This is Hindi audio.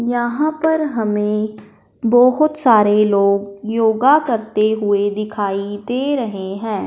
यहां पर हमें बोहोत सारे लोग योगा करते हुए दिखाई दे रहें हैं।